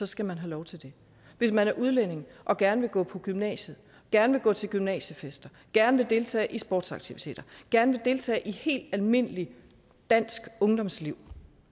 skal man have lov til det hvis man er udlænding og gerne vil gå på gymnasiet gerne vil gå til gymnasiefester gerne vil deltage i sportsaktiviteter gerne vil deltage i et helt almindeligt dansk ungdomsliv